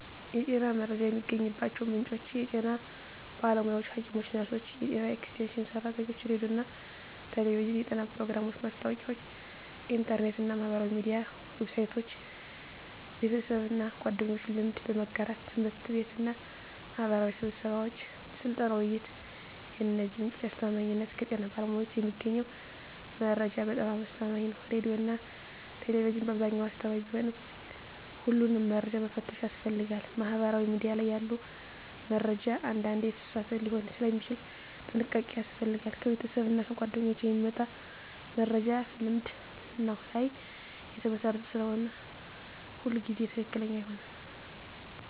የጤና መረጃ የሚገኝባቸው ምንጮች የጤና ባለሙያዎች (ሐኪሞች፣ ነርሶች፣ የጤና ኤክስቴንሽን ሰራተኞች) ሬዲዮና ቴሌቪዥን (የጤና ፕሮግራሞች፣ ማስታወቂያዎች) ኢንተርኔት እና ማህበራዊ ሚዲያ ዌብሳይቶች) ቤተሰብና ጓደኞች (ልምድ በመጋራት) ት/ቤትና ማህበራዊ ስብሰባዎች (ስልጠና፣ ውይይት) የእነዚህ ምንጮች አስተማማኝነት ከጤና ባለሙያዎች የሚገኘው መረጃ በጣም አስተማማኝ ነው ሬዲዮና ቴሌቪዥን በአብዛኛው አስተማማኝ ቢሆንም ሁሉንም መረጃ መፈተሽ ያስፈልጋል ማህበራዊ ሚዲያ ላይ ያለ መረጃ አንዳንዴ የተሳሳተ ሊሆን ስለሚችል ጥንቃቄ ያስፈልጋል ከቤተሰብና ጓደኞች የሚመጣ መረጃ ልምድ ላይ የተመሰረተ ስለሆነ ሁሉ ጊዜ ትክክለኛ አይሆንም